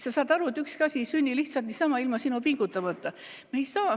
Sa saad aru, et ükski asi ei sünni lihtsalt niisama, ilma pingutamata.